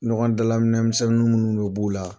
Ɲɔgɔn dalaminɛ misɛnni minnu bɛ b'o la.